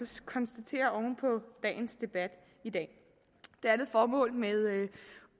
så konstatere oven på dagens debat i dag det andet formål med